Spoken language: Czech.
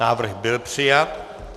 Návrh byl přijat.